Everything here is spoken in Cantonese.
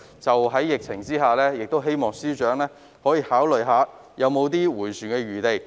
在疫情下，我亦希望司長考慮是否仍有轉圜的餘地。